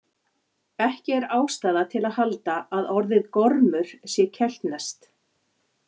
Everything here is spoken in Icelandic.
Ekki er ástæða til að halda að orðið gormur sé keltneskt.